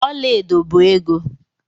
Ọla edo bụ ego.